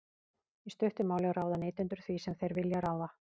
í stuttu máli ráða neytendur því sem þeir vilja ráða